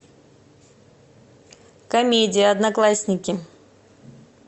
комедия одноклассники